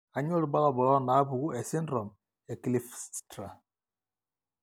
kainyio irbulabul onaapuku esindirom ekleefstra?